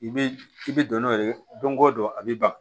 I bɛ i bɛ don n'o ye don go don a bɛ ban